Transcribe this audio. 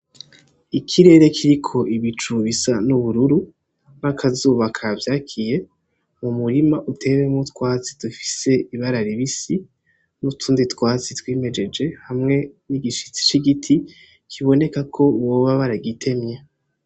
Ikirere kiriko ibicu bisa n'ubururu n'akazuba kavyakiye, umurima uteyemwo utwatsi dufise ibara ribisi n'utundi twatsi twimejeje hamwe n'igishitsi c'igiti biboneka ko boba baragitemye.